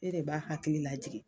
E de b'a hakili lajigi.